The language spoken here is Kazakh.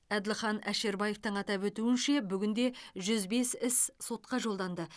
әділхан әшірбаевтың атап өтуінше бүгінде жүз бес іс сотқа жолданды